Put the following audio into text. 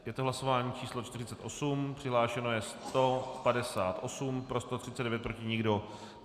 Je to hlasování číslo 48, přihlášeno je 158, pro 139, proti nikdo.